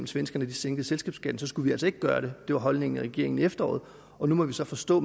svenskerne sænkede selskabsskatten skulle vi altså ikke gøre det det var holdningen i regeringen i efteråret nu må vi så forstå